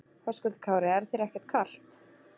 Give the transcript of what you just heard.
Höskuldur Kári: Er þér ekkert kalt?